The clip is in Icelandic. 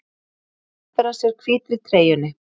Hneppir að sér hvítri treyjunni.